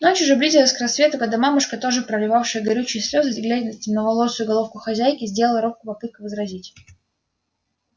ночь уже близилась к рассвету когда мамушка тоже проливавшая горючие слёзы гладя темноволосую головку хозяйки сделала робкую попытку возразить